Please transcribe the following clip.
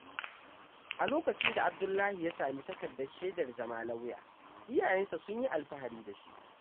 A lokacin da Abdullahi ya sami takardar shaidar zama lauya, iyayensa sun yi alfahari da shi.